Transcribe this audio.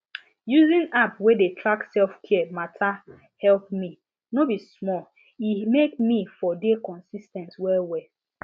using app wey dey track selfcare matter help me no be small e make me for dey consis ten t well well